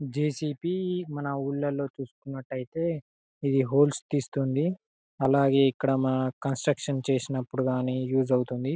J C B మన ఊర్లల్లో చుసుకున్నట్లైతే ఇది హాల్స్ తీస్తుంది అలాగే ఇక్కడ మా కన్స్ట్రక్షన్ చేసినప్పుడు గాని యూజ్ అవుతుంది.